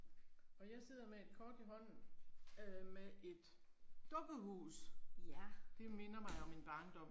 Og jeg sidder med et kort i hånden øh med et dukkehus. Det minder mig om min barndom